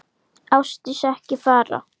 Ásdís, ekki fara.